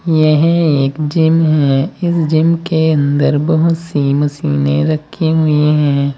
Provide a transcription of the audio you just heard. यह एक जिम है इस जिम के अंदर बहुत सी मशीनें रखी हुई हैं।